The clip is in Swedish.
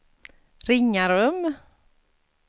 Ringarum